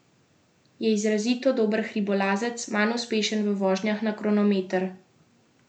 Je izrazito dober hribolazec, manj uspešen v vožnjah na kronometer.